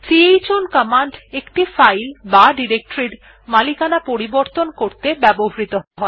chown command একটি file বা directory এর মালিকানা পরিবর্তন করতে ব্যবহৃহ হয়